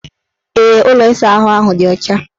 Ee, ụlọ ịsaahụ ahụ dị ọcha.